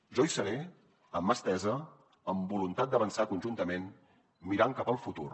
jo hi seré amb mà estesa amb voluntat d’avançar conjuntament mirant cap al futur